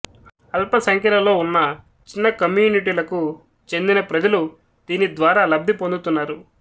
అల్ప సంఖ్యలలో ఉన్న చిన్న కమ్యూనిటీలకు చెందిన ప్రజలు దీనిద్వారా లబ్ధి పొందుతున్నారు